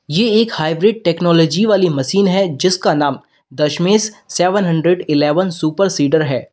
ये एक hybrid technology वाली मशीन है जिसका नाम Dashmesh seven hundred eleven super seater है।